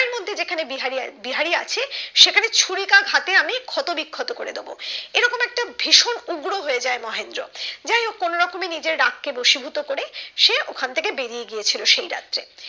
যেখানে বিহারি আছে সেখানে ছুরিকা ঘাতে আমি ক্ষত বিক্ষত করে দিবো এরকম একটা ভীষণ উগ্র হয়ে যায় মহেন্দ্র যাইহোক কোনোরকমে নিজের রাগ কে বশীভূত করে সে ওখান থেকে বেরিয়ে গিয়েছিল সেই রাত্রে